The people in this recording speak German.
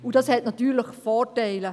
Das hat natürlich Vorteile.